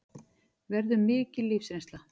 Verður mikil lífsreynsla